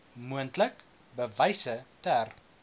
moontlik bewyse ter